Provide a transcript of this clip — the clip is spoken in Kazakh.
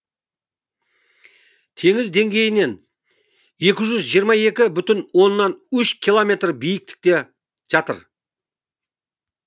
теңіз деңгейінен екі жүз жиырма екі бүтін оннан үш километр биіктікте жатыр